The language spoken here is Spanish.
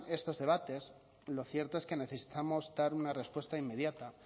estos debates lo cierto es que necesitamos dar una respuesta inmediata